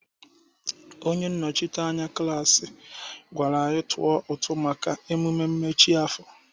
Onye nnọchiteanya klaasị gwara anyị tụọ ụtụ maka mmemme mmechi afọ.